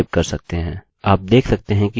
आप देख सकते हैं कि यह अभी ऊपर आ गया है